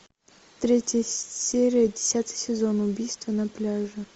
третья серия десятый сезон убийство на пляже